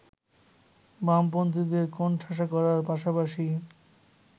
বামপন্থীদের কোণঠাসা করার পাশাপাশি